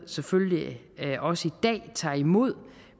selvfølgelig også tager imod